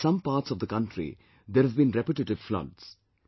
In some parts of the country, there have been repetitive floods